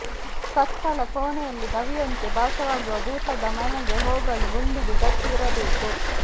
ಕತ್ತಲ ಕೋಣೆಯಲ್ಲಿ ಗವಿಯಂತೆ ಭಾಸವಾಗುವ ಭೂತದ ಮನೆಗೆ ಹೋಗಲು ಗುಂಡಿಗೆ ಗಟ್ಟಿ ಇರಬೇಕು